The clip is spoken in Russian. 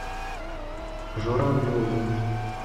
журавлеву